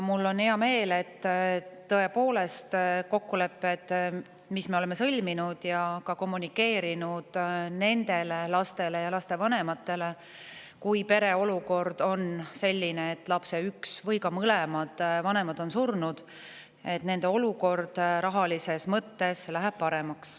Mul on hea meel, et kokkulepped, mis me oleme sõlminud – ja nendele lastele ja lastevanematele, kelle olukord on selline, et lapse üks vanem või mõlemad vanemad on surnud –, et nende perede olukord rahalises mõttes läheb paremaks.